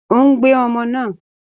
Ó ń gbé ọmọ náà.